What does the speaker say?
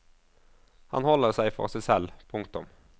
Han holder seg for seg selv. punktum